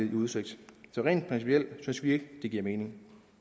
i udsigt så rent principielt synes vi ikke det giver mening